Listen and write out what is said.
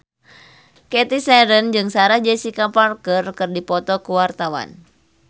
Cathy Sharon jeung Sarah Jessica Parker keur dipoto ku wartawan